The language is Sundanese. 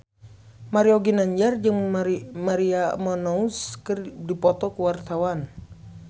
Mario Ginanjar jeung Maria Menounos keur dipoto ku wartawan